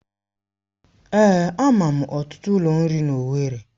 Èé, ama m ọtụtụ ụlọ nri n'Owerri